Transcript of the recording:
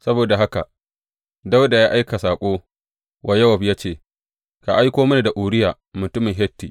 Saboda haka Dawuda ya aika saƙo wa Yowab ya ce, Ka aiko mini da Uriya mutumin Hitti.